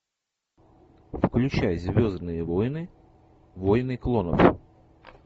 включай звездные войны войны клонов